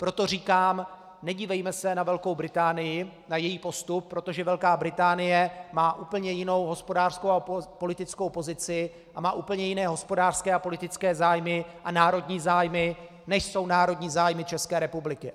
Proto říkám, nedívejme se na Velkou Británii, na její postup, protože Velká Británie má úplně jinou hospodářskou a politickou pozici a má úplně jiné hospodářské a politické zájmy a národní zájmy, než jsou národní zájmy České republiky.